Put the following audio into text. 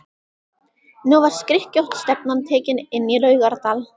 Nú var skrykkjótt stefnan tekin inn í Laugardal.